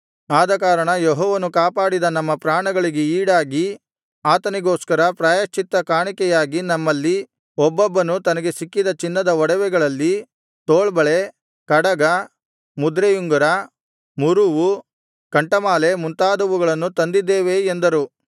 ಆದಕಾರಣ ಯೆಹೋವನು ಕಾಪಾಡಿದ ನಮ್ಮ ಪ್ರಾಣಗಳಿಗೆ ಈಡಾಗಿ ಆತನಿಗೋಸ್ಕರ ಪ್ರಾಯಶ್ಚಿತ್ತ ಕಾಣಿಕೆಯಾಗಿ ನಮ್ಮಲ್ಲಿ ಒಬ್ಬೊಬ್ಬನು ತನಗೆ ಸಿಕ್ಕಿದ ಚಿನ್ನದ ಒಡವೆಗಳಲ್ಲಿ ತೋಳ್ಬಳೆ ಕಡಗ ಮುದ್ರೆಯುಂಗರ ಮುರುವು ಕಂಠಮಾಲೆ ಮುಂತಾದವುಗಳನ್ನು ತಂದಿದ್ದೇವೆ ಎಂದರು